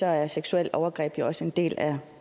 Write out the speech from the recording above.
er seksuelle overgreb jo også en del af